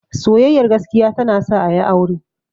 Soyayyar gaskiya ta na sa a yi aure